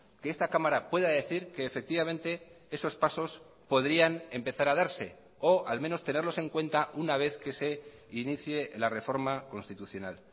que esta cámara pueda decir que efectivamente esos pasos podrían empezar a darse o al menos tenerlos en cuenta una vez que se inicie la reforma constitucional